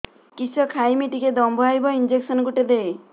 କିସ ଖାଇମି ଟିକେ ଦମ୍ଭ ଆଇବ ଇଞ୍ଜେକସନ ଗୁଟେ ଦେ